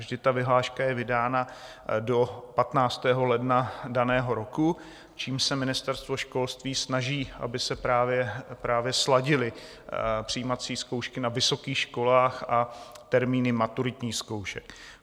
Vždy ta vyhláška je vydána do 15. ledna daného roku, čímž se Ministerstvo školství snaží, aby se právě sladily přijímací zkoušky na vysokých školách a termíny maturitních zkoušek.